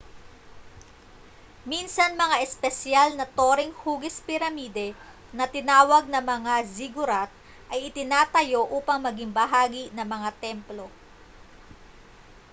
minsan mga espesyal na toreng hugis piramide na tinawag na mga ziggurat ay itinatayo upang maging bahagi ng mga templo